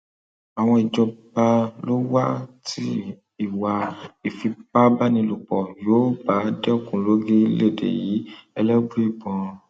ọwọ ìjọba ló wà tí ìwà ìfipábánilòpọ yóò bá dẹkùn lórílẹèdè yìí elébùíbọn